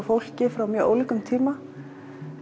fólki frá mjög ólíkum tíma